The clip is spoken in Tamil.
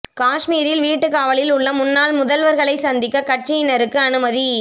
காஷ்மீரில் வீட்டுக் காவலில் உள்ள முன்னாள் முதல்வர்களை சந்திக்க கட்சியினருக்கு அனுமதி